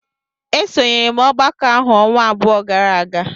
Esonyere m ọgbakọ ahụ ọnwa abụọ gara aga.